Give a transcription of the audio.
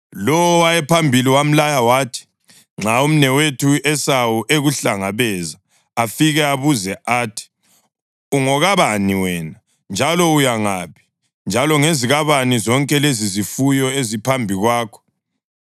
Lowo owayephambili wamlaya wathi, “Nxa umnewethu u-Esawu ekuhlangabeza afike abuze athi, ‘Ungokabani wena, njalo uya ngaphi, njalo ngezikabani zonke lezizifuyo eziphambi kwakho?’